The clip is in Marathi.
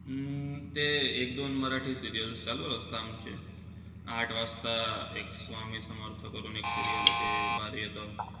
अं ते एक-दोन मराठी serials चालू राहता आमचे. आठ वाजता एक स्वामी समर्थ करून एक serial येतं ते भारी येतं.